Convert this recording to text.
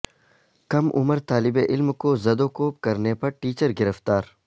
کم عمر طالب علم کو زد و کوب کرنے پر ٹیچر گرفتار